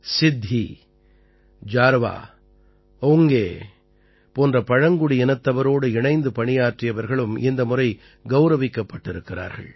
சித்தி ஜார்வா ஓங்கே போன்ற பழங்குடியினத்தவரோடு இணைந்து பணியாற்றியவர்களும் இந்த முறை கௌரவிக்கப்பட்டிருக்கிறார்கள்